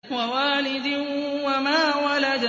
وَوَالِدٍ وَمَا وَلَدَ